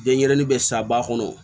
Denɲɛrɛnin bɛ sa ba kɔnɔ